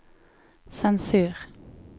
sensur